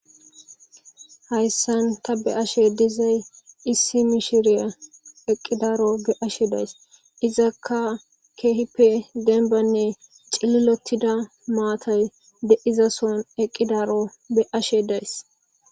hayssan ta be ashe dizay issi mishiriya eqqidaro be ashe days izakka keehippe denbanne cililotida maatay de izason eqqidaro be ashe days